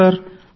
అవును సర్